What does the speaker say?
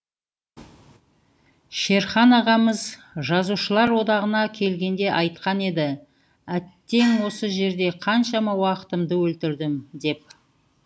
шерхан ағамыз жазушылар одағына келгенде айтқан еді әттең осы жерде қаншама уақытымды өлтірдім деп